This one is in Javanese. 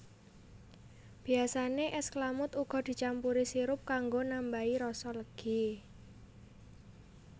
Biyasane es klamud uga dicampuri sirup kanggo nambahai rasa legi